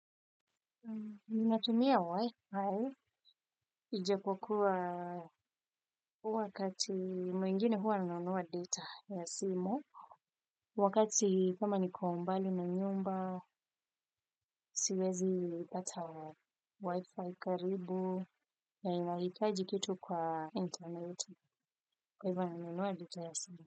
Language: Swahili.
Ninatumia Wi-Fi, ijapokuwa wakati mwingine huwa nanunua data ya simu, wakati kama niko mbali na nyumba, siwezipata Wi-Fi karibu, na inahitaji kitu kwa internet, kwa hivyo nanunua data ya simu.